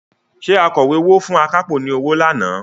Ṣé akọ̀wé owó fún akápò ni ọwọ́ lánàá?